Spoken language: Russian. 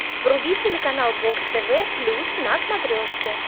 вруби телеканал бокс тв плюс на смотрешке